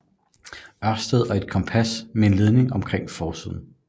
Ørsted og et kompas med en ledning omkring på forsiden